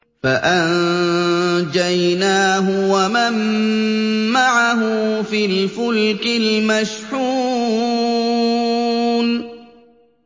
فَأَنجَيْنَاهُ وَمَن مَّعَهُ فِي الْفُلْكِ الْمَشْحُونِ